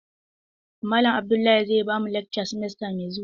Malam Abdullahi zai bamu lakca simesta mai zuwa.